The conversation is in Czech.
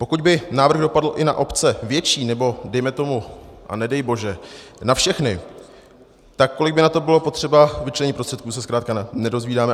Pokud by návrh dopadl i na obce větší, nebo dejme tomu a nedej bože na všechny, tak kolik by na to bylo potřeba vyčlenit prostředků, se zkrátka nedozvídáme.